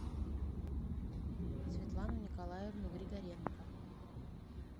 светлану николаевну григоренко